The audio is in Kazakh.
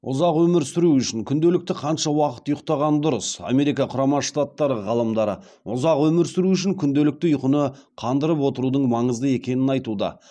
ұзақ өмір сүру үшін күнделікті қанша уақыт ұйықтаған дұрыс америка құрама штаттары ғалымдары ұзақ өмір сүру үшін күнделікті ұйқыны қандырып отырудың маңызды екенін айтуда